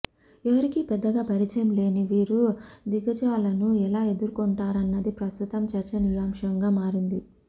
ఎవరికీ పెద్దగా పరిచయం లేని వీరు దిగ్గజాలను ఎలా ఎదుర్కొంటారన్నది ప్రస్తుతం చర్చనీయాంశంగా మారింది